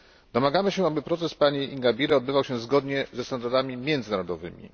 Domagamy się, aby proces pani Ingabire odbywał się zgodnie ze standardami międzynarodowymi.